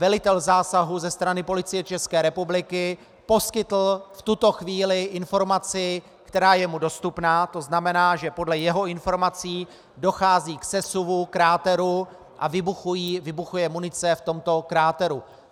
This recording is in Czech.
Velitel zásahu ze strany Policie České republiky poskytl v tuto chvíli informaci, která je mu dostupná, to znamená, že podle jeho informací dochází k sesuvu kráteru a vybuchuje munice v tomto kráteru.